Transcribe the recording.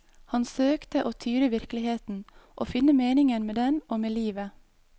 Han søkte å tyde virkeligheten, å finne meningen med den og med livet.